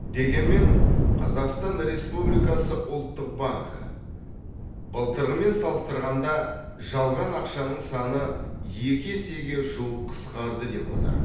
дегенмен қазақстан республикасы ұлттық банкі былтырғымен салыстырғанда жалған ақшаның саны екі есеге жуық қысқарды деп отыр